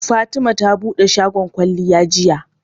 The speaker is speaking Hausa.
Fatima ta buɗe shafin kwalliya jiya.